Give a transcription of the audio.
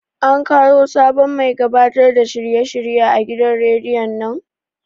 An kawo sabon mai gabatar da shirye shirye a gidan rediyon nan?